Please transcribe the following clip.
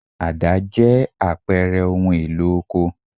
Àdá jẹ́ àpẹẹrẹ ohun-èlò oko.